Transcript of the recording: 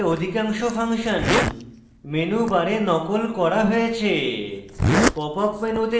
এই মেনুতে অধিকাংশ ফাংশন menu bar নকল করা হয়েছে